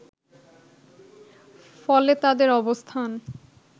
ফলে তাদের অবস্থান